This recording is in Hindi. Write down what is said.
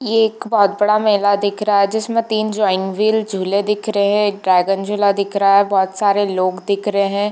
ये एक बहुत बड़ा मेला दिख रहा है जिसमे तीन जॉइन्ट व्हील झूले दिख रहे है ड्रैगन झूला दिख रहा है एक बहोत सारे लोग दिख रहे है।